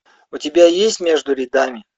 у тебя есть между рядами